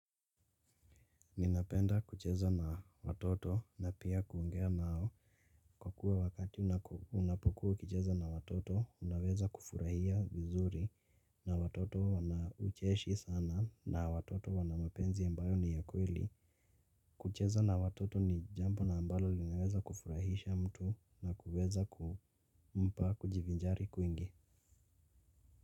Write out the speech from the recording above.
Ninapenda kucheza na watoto na pia kuongea nao. Kwa kuwa wakati unapokuwa ukicheza na watoto unaweza kufurahia vizuri na watoto wana ucheshi sana na watoto wana mapenzi ambayo ni ya kweli. Kucheza na watoto ni jambo na ambalo linaweza kufurahisha mtu na kuweza kumpa kujivinjari kwingi.